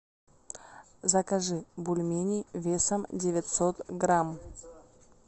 закажи бульмени весом девятьсот грамм